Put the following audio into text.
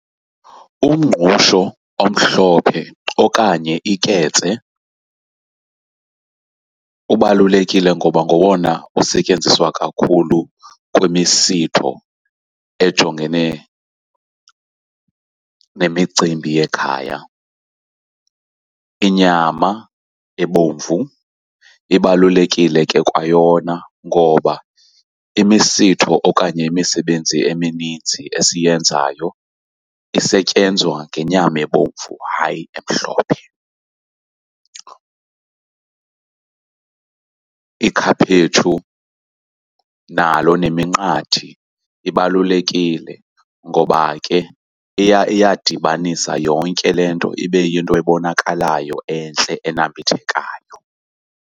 Umngqusho omhlophe okanye iketse ubalulekile ngoba ngowona usetyenziswa kakhulu kwimisitho ejongene nemicimbi yekhaya. Inyama ebomvu ibalulekile ke kwayona ngoba imisitho okanye imisebenzi emininzi esiyenzayo isetyenzwa ngenyama ebomvu, hayi emhlophe. Ikhaphetshu nalo neminqathi ibalulekile ngoba ke iya iyadibanisa yonke le nto, ibe yinto ebonakalayo entle enambithekayo.